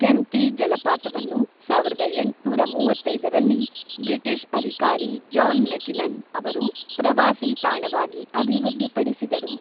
ಕೆಂಪ್ಟಿ ಜಲಪಾತವನ್ನು ಸಾವಿರದ ಎಂಟುನೂರ ಮೂವತ್ತೈದರಲ್ಲಿ ಬ್ರಿಟಿಷ್ ಅಧಿಕಾರಿ ಜಾನ್ ಮೆಕಿನನ್ ಅವರು ಪ್ರವಾಸಿ ತಾಣವಾಗಿ ಅಭಿವೃದ್ಧಿಪಡಿಸಿದರು.